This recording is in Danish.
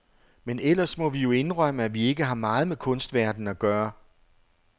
Men ellers må vi jo indrømme, at vi ikke har meget med kunstverdenen at gøre.